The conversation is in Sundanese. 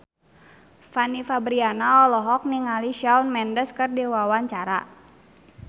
Fanny Fabriana olohok ningali Shawn Mendes keur diwawancara